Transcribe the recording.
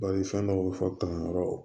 Bari fɛn dɔw bɛ fɔ tan yɔrɔ